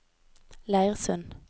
Leirsund